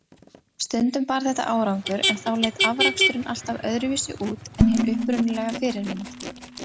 Stundum bar þetta árangur, en þá leit afraksturinn alltaf öðruvísi út en hin upprunalega fyrirmynd.